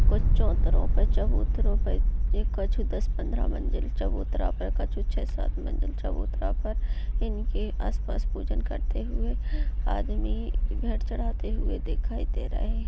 कुछ चौत्रों पे । चबूतरो पे कछु दस पद्रह मंजिल चबूतरा पर। कछु छः सात मंजिल चबूतरा पर। इनके आस-पास पूजन करते हुए। आदमी घर चढ़ाते हुए दिखाई दे रहे हैं।